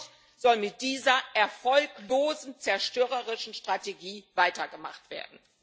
Und dennoch soll mit dieser erfolglosen, zerstörerischen Strategie weitergemacht werden.